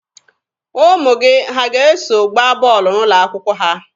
Ụmụ gị ha ga-eso gbaa bọọlụ n'ụlọ akwụkwọ ha?